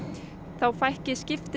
þá fækki